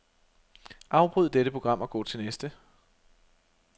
Afbryd dette program og gå til næste.